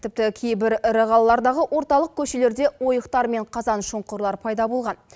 тіпті кейбір ірі қалалардағы орталық көшелерде ойықтар мен қазан шұңқырлар пайда болған